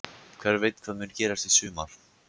Hver veit hvað mun gerast í sumar?